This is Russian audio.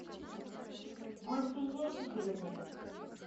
гульфие игоревне